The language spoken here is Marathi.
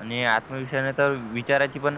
आणि आत्मविश्वासाने तर विचारायची पण